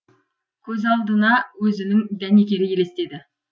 көз алдына өзінің дәнекері елестеді